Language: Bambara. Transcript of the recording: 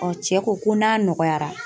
cɛ ko ko n'a nɔgɔyara.